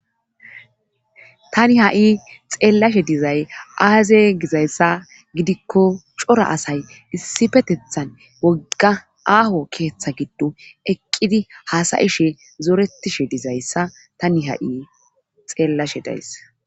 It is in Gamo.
tani ha7i xeellashe dizay aaze gizayssa gidikko cora asay issifetethan wogga aaho keeththa giddo eqqidi haasayishe zoretishe dizayssa tani ha7i xeellashe dayss